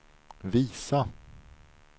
visa